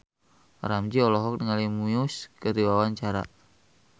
Ramzy olohok ningali Muse keur diwawancara